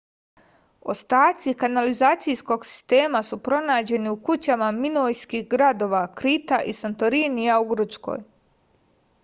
ostaci kanalizacijskog sistema su pronađeni u kućama minojskih gradova krita i santorinija u grčkoj